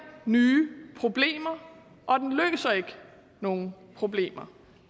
nye problemer og den løser ikke nogen problemer